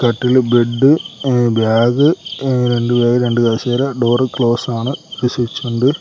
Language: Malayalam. കട്ടില് ബെഡ് ആ ബാഗ് ആ രണ്ടു ബാഗ് രണ്ടു കസേര ഡോർ ക്ലോസ് ആണ് ഒരു സ്വിച്ച് ഉണ്ട്.